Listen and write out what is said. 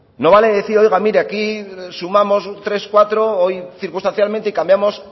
no vale decir oiga mire aquí sumamos tres cuatro hoy circunstancialmente y cambiamos